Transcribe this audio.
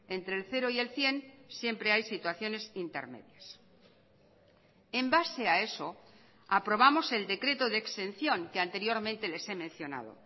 entre el cero y el cien siempre hay situaciones intermedias en base a eso aprobamos el decreto de exención que anteriormente les he mencionado